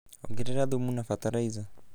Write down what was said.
Ongerera thũmu na batalaiza